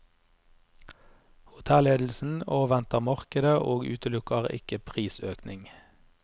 Hotelledelsen avventer markedet og utelukker ikke prisøkning.